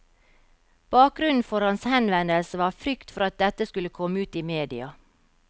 Bakgrunnen for hans henvendelse var frykt for at dette skulle komme ut i media.